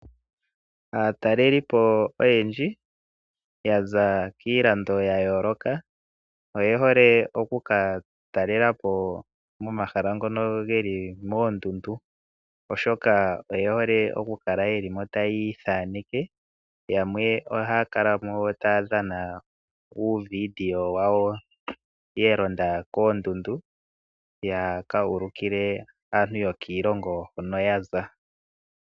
Aatalelipo oyendji yaza kiilando ya yoloka oye hole oku ka talelapo momahala ngono geli moondundu oshoka oye hole oku kala yelimo tayi ithaneke yamwe oha kalamo taa dhana uuvideo wawo yalonda koondundu yaka ulukile aantu yokiilongo hono yaza.